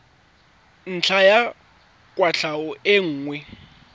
ntlha ya kwatlhao e nngwe